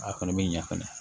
A kɔni bɛ ɲɛ fɛnɛ